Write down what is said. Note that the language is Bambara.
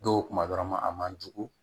Dɔw kuma dɔrɔn ma a man jugu